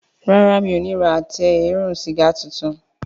Ràrá o mi'o ní rà Àtẹ eérún sìgá títún.